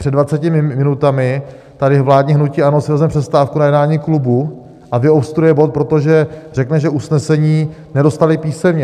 Před 20 minutami tady vládní hnutí ANO si vezme přestávku na jednání klubu a vyobstruuje bod, protože řekne, že usnesení nedostali písemně.